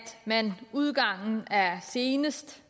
man senest